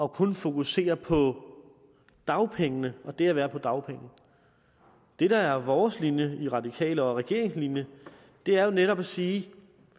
og kun fokuserede på dagpengene og det at være på dagpenge det der er vores linje i radikale og regeringens linje er jo netop at sige